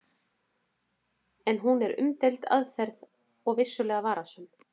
En hún er umdeild aðferð og vissulega varasöm.